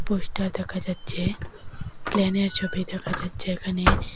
Poster দেখা যাচ্ছে প্লেনের ছবি দেখা যাচ্ছে এখানে।